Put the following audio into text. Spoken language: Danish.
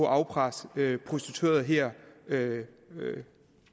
afpresse prostituerede her